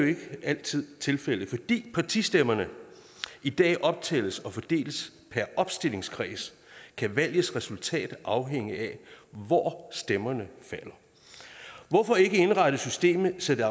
ikke altid tilfældet fordi partistemmerne i dag optælles og fordeles per opstillingskreds kan valgets resultat afhænge af hvor stemmerne falder hvorfor ikke indrette systemet så det